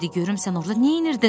De görüm sən orda neynirdin?